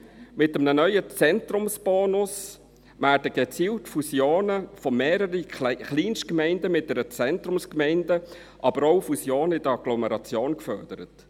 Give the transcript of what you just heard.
Mit einem neuen Zentrumsbonus werden gezielt Fusionen von mehreren Kleinstgemeinden mit einer Zentrumsgemeinde, aber auch Fusionen in der Agglomeration gefördert.